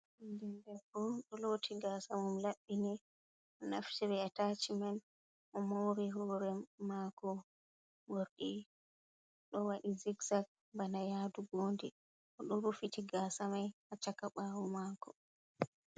Debbo" ɗo loti gasa mum laɓɓini. Naftiri a tachi man, o mori hore mako morɗi ɗo waɗi zikzaak, bana yadu nbondi, o do rufiti gasa mai ha chaka bawo mako.